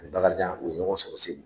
Bakarijan u ye ɲɔgɔn sɔrɔ Segu